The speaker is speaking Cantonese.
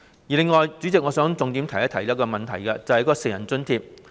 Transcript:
此外，代理主席，我想重點提出一個問題，就是成人津貼。